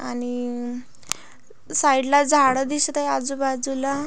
आणि अ साइड ला झाड दिसत आहे आजूबाजूला--